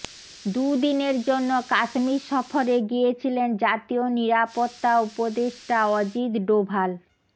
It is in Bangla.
দুদিনের জন্য কাশ্মীর সফরে গিয়েছিলেন জাতীয় নিরাপত্তা উপদেষ্টা অজিত ডোভাল